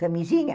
Camisinha.